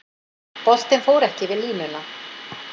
Boltinn fór ekki yfir línuna